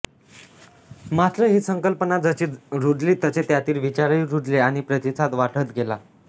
मात्र ही संकल्पना जशी रुजली तसे त्यातील विचारही रुजले आणि प्रतिसाद वाढत गेला